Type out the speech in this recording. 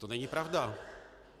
To není pravda.